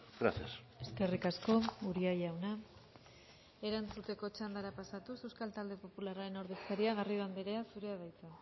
gracias eskerrik asko uria jauna erantzuteko txandara pasatuz euskal talde popularraren ordezkaria garrido anderea zurea da hitza